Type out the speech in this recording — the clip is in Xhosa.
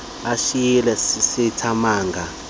basishiya sisathe manga